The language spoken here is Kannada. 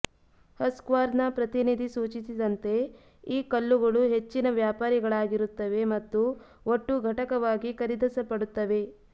ಹಸ್ಕ್ವಾರ್ನಾ ಪ್ರತಿನಿಧಿ ಸೂಚಿಸಿದಂತೆ ಈ ಕಲ್ಲುಗಳು ಹೆಚ್ಚಿನ ವ್ಯಾಪಾರಿಗಳಾಗಿರುತ್ತವೆ ಮತ್ತು ಒಟ್ಟು ಘಟಕವಾಗಿ ಖರೀದಿಸಲ್ಪಡುತ್ತವೆ